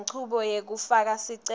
lenchubo yekufaka sicelo